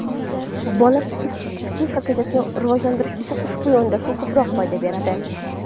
Bola psixikasini rivojlantirish uchun ushbu yondashuv ko‘proq foyda beradi.